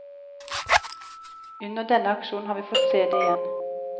Under denne aksjonen har vi fått se det igjen.